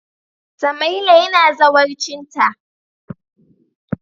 Samaila yana zawarcinta.